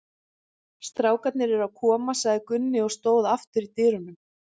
Strákarnir eru að koma, sagði Gunni og stóð aftur í dyrunum.